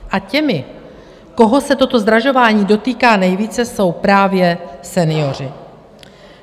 A těmi, koho se toto zdražování dotýká nejvíce, jsou právě senioři.